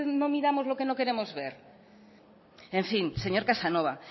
no miramos lo que no queremos ver en fin señor casanova